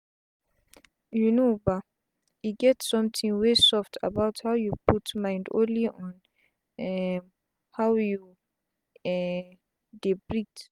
you know bah e get sometin wey soft about how you put mind only on um how you um dey breat